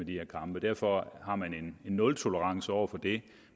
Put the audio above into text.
her kampe derfor har man en nultolerance over for det